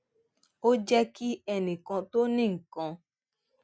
ó jé kí ẹnì kan tó ní nǹkan